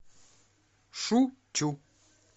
шу чу